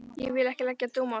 Ég vil ekki leggja dóm á það.